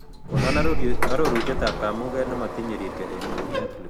Konon arorutietap kaamuuket ne motinye riirke eng' netflix